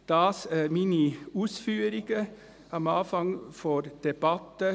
Das meine Ausführungen am Anfang der Debatte.